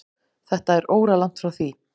Þetta er óralangt frá því.